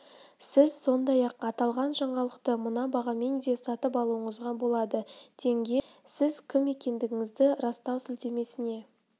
сіз сондай-ақ аталған жаңалықты мына бағамен де сатып алуыңызға болады тенге сіз кім екендігіңізді растау сілтемесіне